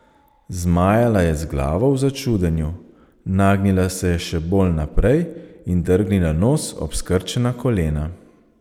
Zmajala je z glavo v začudenju, nagnila se je še bolj naprej in drgnila nos ob skrčena kolena.